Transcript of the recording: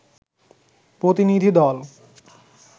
প্রতিনিধি দল